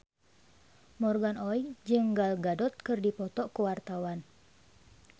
Morgan Oey jeung Gal Gadot keur dipoto ku wartawan